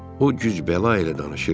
O güc bəla ilə danışırdı.